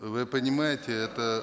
вы понимаете это